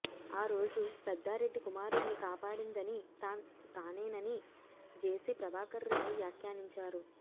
ఆ రోజు పెద్దారెడ్డి కుమారుడిని కాపాడిందని తానేనని జేసీ ప్రభాకర్ రెడ్డి వ్యాఖ్యానించారు